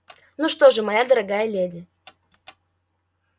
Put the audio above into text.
ну что же моя дорогая леди